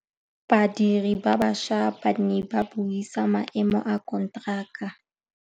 Badiri ba baša ba ne ba buisa maêmô a konteraka.